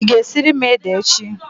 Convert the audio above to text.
Ị ga-esiri m ede echi?